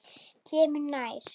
Kemur nær.